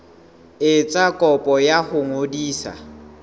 etsa kopo ya ho ngodisa